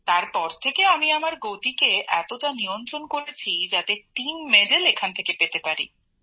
তারপর থেকে আমি আমার গতিকে এতটা নিয়ন্ত্রণ করেছি যাতে দলের জন্য এখান থেকে পদক পেতে পারি